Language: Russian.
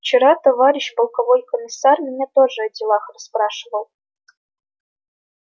вчера товарищ полковой комиссар меня тоже о делах расспрашивал